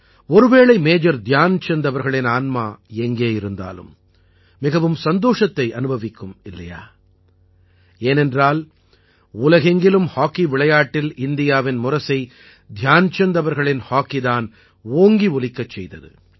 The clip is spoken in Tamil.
ஒரு வேளை மேஜர் தியான்சந்த் அவர்களின் ஆன்மா எங்கே இருந்தாலும் மிகவும் சந்தோஷத்தை அனுபவிக்கும் இல்லையா ஏனென்றால் உலகெங்கிலும் ஹாக்கி விளையாட்டில் இந்தியாவின் முரசை தியான்சந்த் அவர்களின் ஹாக்கி தான் ஓங்கி ஒலிக்கச் செய்தது